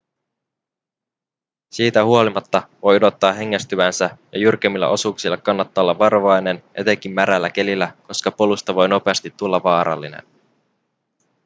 siitä huolimatta voi odottaa hengästyvänsä ja jyrkemmillä osuuksilla kannattaa olla varovainen etenkin märällä kelillä koska polusta voi nopeasti tulla vaarallinen